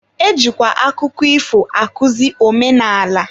E jikwa akụkọ ifo akuzi omenala.